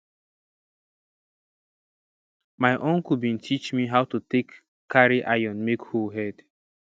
my uncle bin teach me how to take carry iron make hoe head